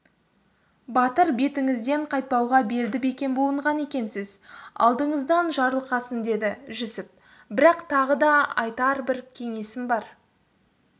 батыр бетіңізден қайтпауға белді бекем буынған екенсіз алдыңыздан жарылқасын деді жүсіп бірақ тағы да айтар бір кеңесім бар